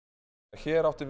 hér átti